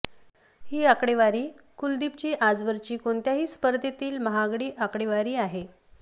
ही आकडेवारी कुलदीपची आजवरची कोणत्याही स्पर्धेतील महागडी आकडेवारी आहे